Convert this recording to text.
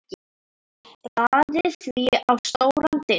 Raðið því á stóran disk.